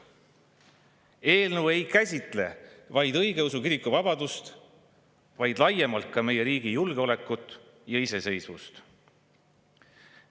Eelnõu ei käsitle ainult õigeusu kiriku vabadust, vaid laiemalt ka meie riigi julgeolekut ja iseseisvust.